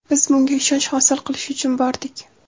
Biz bunga ishonch hosil qilish uchun bordik.